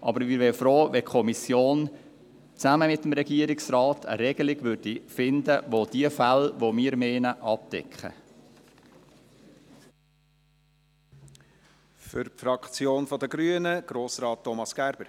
Jedoch wären wir froh, wenn die Kommission gemeinsam mit dem Regierungsrat eine Regelung fände, welche die von uns gemeinten Fälle abdeckt.